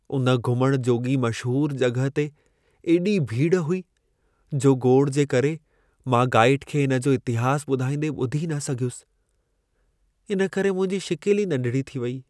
उन घुमण जोॻी मशहूर जॻहि ते एॾी भीड़ हुई, जो घोड़ जे करे मां गाईड खे इन जो इतिहास ॿुधाईंदे ॿुधी न सघियुसि। इन करे मुंहिंजी शिकिल ई नंढिड़ी थी वेई।